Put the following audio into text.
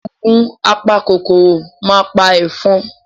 Ògùn apa kòkòrò ma pa ẹ̀fọn.